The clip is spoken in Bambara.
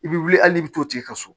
I bɛ wuli hali n'i bɛ t'o tigi ka so